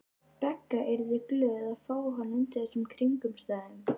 Begga yrðu glöð að fá hann undir þessum kringumstæðum.